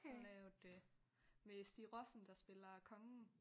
Han lavede øh med Stig Rossen der spiller kongen